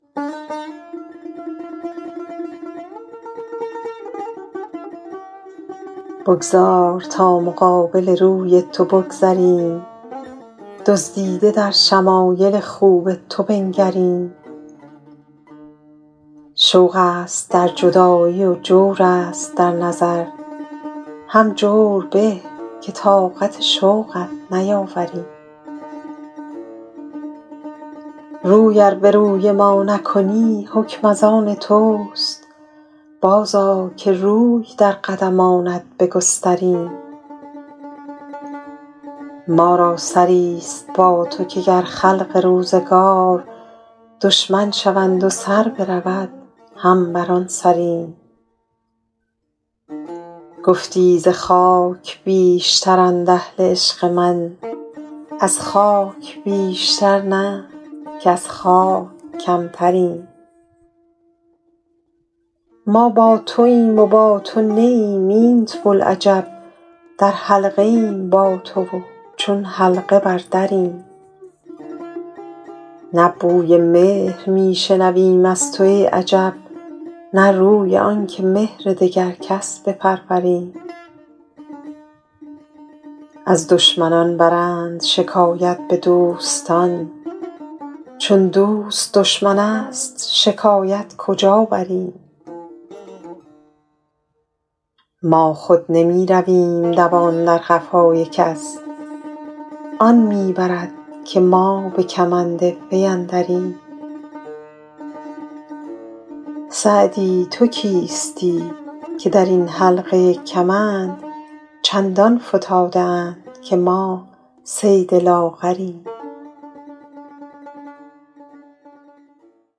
بگذار تا مقابل روی تو بگذریم دزدیده در شمایل خوب تو بنگریم شوق است در جدایی و جور است در نظر هم جور به که طاقت شوقت نیاوریم روی ار به روی ما نکنی حکم از آن توست بازآ که روی در قدمانت بگستریم ما را سری ست با تو که گر خلق روزگار دشمن شوند و سر برود هم بر آن سریم گفتی ز خاک بیشترند اهل عشق من از خاک بیشتر نه که از خاک کمتریم ما با توایم و با تو نه ایم اینت بلعجب در حلقه ایم با تو و چون حلقه بر دریم نه بوی مهر می شنویم از تو ای عجب نه روی آن که مهر دگر کس بپروریم از دشمنان برند شکایت به دوستان چون دوست دشمن است شکایت کجا بریم ما خود نمی رویم دوان در قفای کس آن می برد که ما به کمند وی اندریم سعدی تو کیستی که در این حلقه کمند چندان فتاده اند که ما صید لاغریم